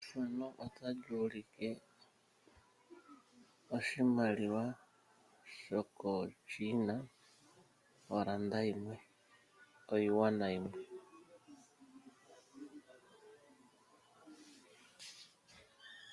Efano otali ulike oshimaliwa shoko Chiina , oranda yimwe oyiuana yimwe